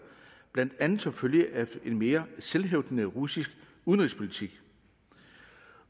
blandt andet som følge af en mere selvhævdende russisk udenrigspolitik